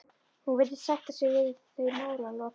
Hún virðist sætta sig við þau málalok.